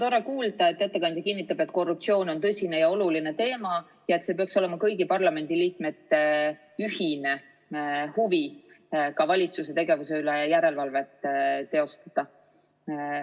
No tore kuulda, et ettekandja kinnitab, et korruptsioon on tõsine ja oluline teema ning et kõigi parlamendiliikmete ühine huvi peaks olema ka valitsuse tegevuse üle järelevalvet teostada.